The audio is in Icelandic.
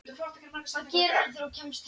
Hvað gerirðu þegar þú kemst heim?